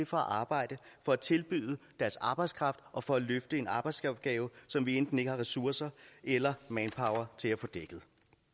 for at arbejde for at tilbyde deres arbejdskraft og for at løfte en arbejdsopgave som vi enten ikke har ressourcer eller manpower til at få dækket